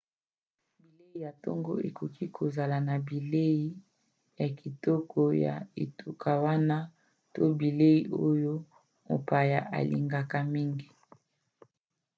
bilei ya ntongo ekoki kozala na bilei ya kitoko ya etuka wana to bilei oyo mopaya alingaka mingi